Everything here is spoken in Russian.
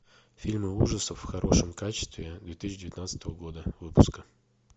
фильмы ужасов в хорошем качестве две тысячи девятнадцатого года выпуска